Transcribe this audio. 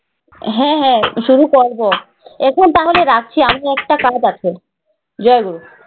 হ্যাঁ হ্যাঁ শুরু করব। এখন তাহলে রাখি। আমি একটা কাজ আছে।